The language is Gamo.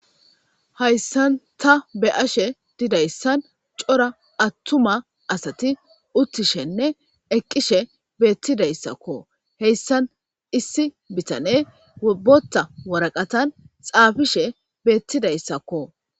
Haysan ta beyashe didaysan c'ora attuma asati uttishene eqishe betidaysakko hesan issi bitaney Botha waraqatani xapishe betidaysakko